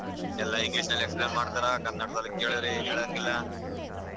ಎಲ್ಲಾ English ಅಲ್ಲಿ explain ಮಾಡ್ತಾರಾ ಕನ್ನಡದಲ್ಲಿ ಕೇಳಿದ್ರೆ ಏನ್ ಹೇಳಂಗಿಲ್ಲ .